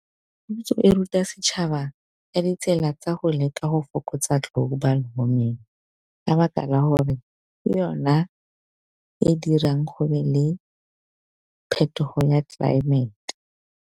Puso e ruta setšhaba ka ditsela tsa go leka go fokotsa Global warming, ka baka la hore ke yona e dirang go be le phetogo ya tlelaemete.